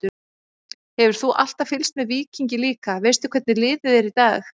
Hefur þú alltaf fylgst með Víkingi líka, veistu hvernig liðið er í dag?